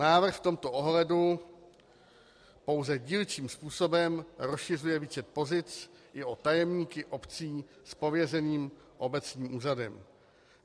Návrh v tomto ohledu pouze dílčím způsobem rozšiřuje více pozic i o tajemníky obcí s pověřeným obecním úřadem.